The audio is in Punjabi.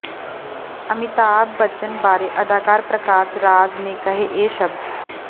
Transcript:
ਅਮਿਤਾਭ ਬੱਚਨ ਬਾਰੇ ਅਦਾਕਾਰ ਪ੍ਰਕਾਸ਼ ਰਾਜ ਨੇ ਕਹੇ ਇਹ ਸ਼ਬਦ